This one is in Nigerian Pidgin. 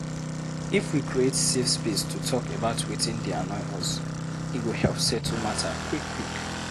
If we create safe space to talk about wetin dey annoy us, e go help settle matter quick quick.